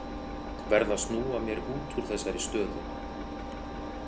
Verð að snúa mér út úr þessari stöðu.